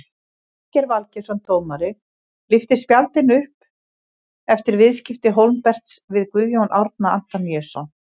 Valgeir Valgeirsson dómari lyfti spjaldinu upp eftir viðskipti Hólmberts við Guðjón Árna Antoníusson.